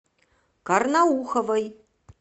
карнауховой